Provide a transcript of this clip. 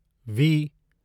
we